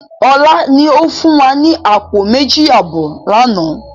Ọlá ni ó fún wa ní àpò méjì àbọ̀ lànà